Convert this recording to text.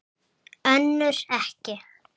Önnur ekki.